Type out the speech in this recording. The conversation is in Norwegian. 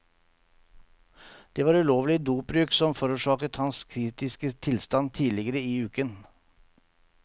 Det var ulovlig dopbruk som forårsaket hans kritiske tilstand tidligere i uken.